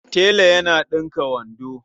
Tela yana ɗinka wando.